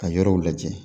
Ka yɔrɔw lajɛ